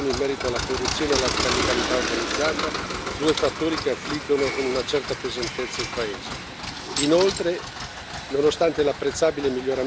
Come giustamente sottolineato nella relazione, resta alta la preoccupazione in merito alla corruzione e alla criminalità organizzata, due fattori che affliggono con una certa pesantezza il paese.